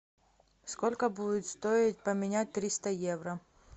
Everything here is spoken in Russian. сколько будет стоить поменять триста евро